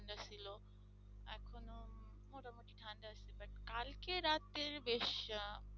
কিছু বেশি